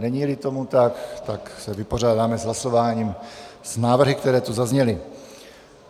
Není-li tomu tak, tak se vypořádáme hlasováním s návrhy, které tu zazněly.